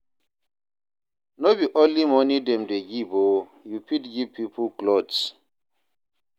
No be only moni dem dey give o, you fit give pipo clothes.